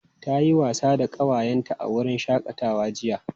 Ta yi wasa da ƙawayenta a wurin shakatawa jiya.